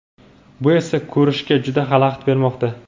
bu esa ko‘rishga juda xalaqit bermoqda.